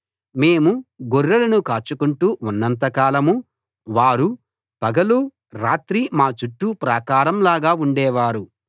మేము గొర్రెలను కాచుకొంటూ ఉన్నంత కాలం వారు పగలూ రాత్రీ మా చుట్టూ ప్రాకారం లాగా ఉండేవారు